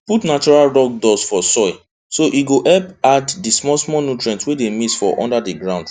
put natural rock dust for soil so e go help add the smallsmall nutrients wey dey miss for under the ground